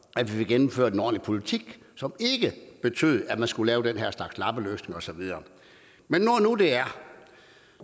at vi fik gennemført en ordentlig politik som ikke betød at man skulle lave den her slags lappeløsninger og så videre men